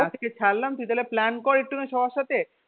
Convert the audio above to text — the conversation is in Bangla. আজকে ছাড়লাম তুই তাহলে plan কর একটু সবার সাথে.